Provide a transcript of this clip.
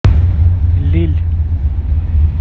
лилль